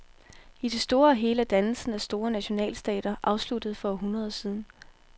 I det store og hele er dannelsen af store nationalstater afsluttet for århundreder siden.